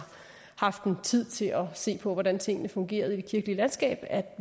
haft tid til at se på hvordan tingene fungerede i det kirkelige landskab at